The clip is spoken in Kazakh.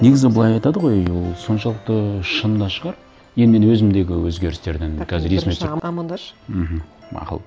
негізі былай айтады ғой ол соншалықты шын да шығар енді мен өзімдегі өзгерістерден қазір есіме түсіріп бірінші амандасшы мхм мақұл